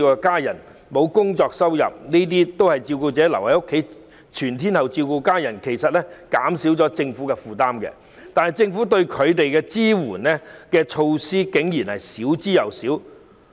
照顧者全天候留在家中照顧家人，其實減輕了政府的負擔，但政府給予他們的支援，竟然少之又少。